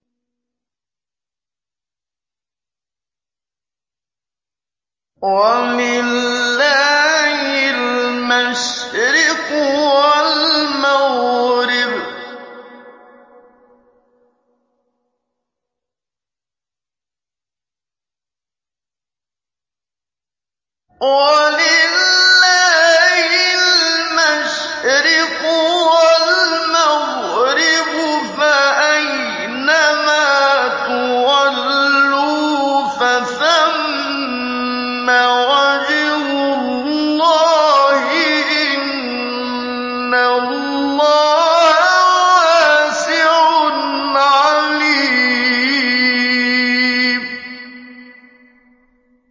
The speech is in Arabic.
وَلِلَّهِ الْمَشْرِقُ وَالْمَغْرِبُ ۚ فَأَيْنَمَا تُوَلُّوا فَثَمَّ وَجْهُ اللَّهِ ۚ إِنَّ اللَّهَ وَاسِعٌ عَلِيمٌ